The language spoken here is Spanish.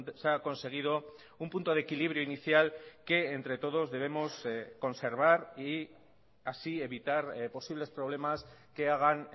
se ha conseguido un punto de equilibrio inicial que entre todos debemos conservar y así evitar posibles problemas que hagan